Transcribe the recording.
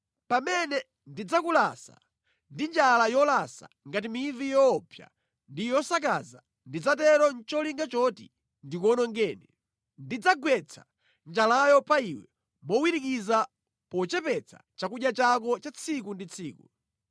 Pamene ndidzakulasa ndi njala yolasa ngati mivi yoopsa ndi yosakaza ndidzatero nʼcholinga choti ndikuwonongeni. Ndidzagwetsa njalayo pa iwe mowirikiza pochepetsa chakudya chako cha tsiku ndi tsiku.